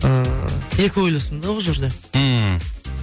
ыыы екі ойлысың да бұл жерде ммм